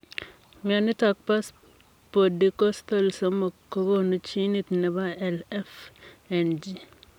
Mionitok poo spodikostol somok kokonuu jinit nepoo LFNG.